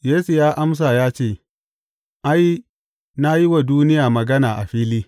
Yesu ya amsa ya ce, Ai, na yi wa duniya magana a fili.